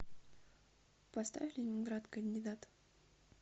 поставь ленинград кандидат